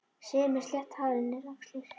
Sif með slétt hárið niður á axlir.